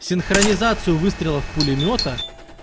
синхронизацию выстрелов пулемёта